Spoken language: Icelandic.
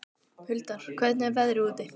Huldar, hvernig er veðrið úti?